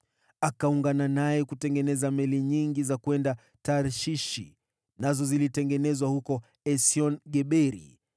Akaungana naye kutengeneza meli nyingi za kwenda Tarshishi, nazo zilitengenezwa huko Esion-Geberi.